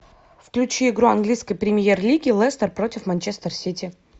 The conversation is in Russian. включи игру английской премьер лиги лестер против манчестер сити